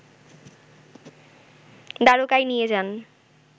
দ্বারকায় নিয়ে যান